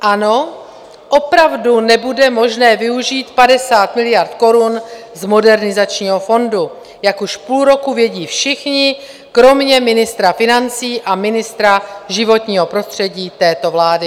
Ano, opravdu nebude možné využít 50 miliard korun z Modernizačního fondu, jak už půl roku vědí všichni kromě ministra financí a ministra životního prostředí této vlády.